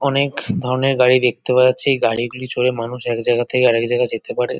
অনেক ধরনের গাড়ি দেখতে পাওয়া যাচ্ছে এই গাড়িগুলি চড়ে মানুষ একজায়গা থেকে আরেকজায়গায় যেতে পারে।